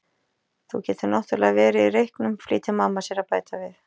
Þú getur náttúrlega verið í reyknum, flýtir mamma sér að bæta við.